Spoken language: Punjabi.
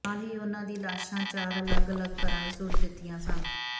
ਨਾਲ ਹੀ ਉਨ੍ਹਾਂ ਦੀ ਲਾਸ਼ਾਂ ਚਾਰ ਅਲੱਗ ਅਲੱਗ ਘਰਾਂ ਵਿਚ ਸੁੱਟ ਦਿੱਤੀਆਂ ਸਨ